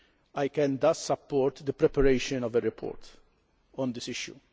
I can thus support the preparation of a report on this issue.